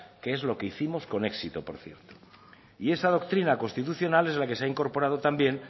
que es lo que hicimos con éxito por cierto y esta doctrina constitucional es la que se ha incorporado también